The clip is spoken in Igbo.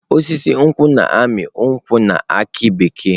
Osisi nkwu na-amị nkwu na aki bekee.